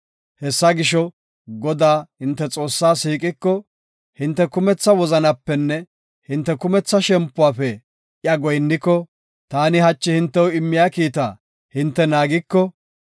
Hessa gisho, Godaa, hinte Xoossaa siiqiko, hinte kumetha wozanapenne hinte kumetha shempuwafe iya goyinniko, taani hachi hintew immiya kiita hinte naagiko,